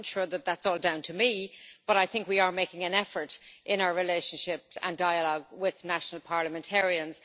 I'm not sure that that's all down to me but I think we are making an effort in our relationships and dialogue with national parliamentarians.